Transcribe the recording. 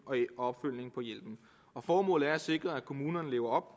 og formålet er at sikre at kommunerne lever